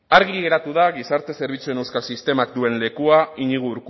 argi geratu da gizarte zerbitzuen euskal sistemak duen lekua iñigo